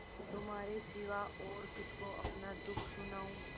तुम्हारे सिवा और किसको अपना दुःख सुनाऊँ